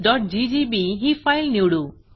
concentriccirclesजीजीबी ही फाईल निवडू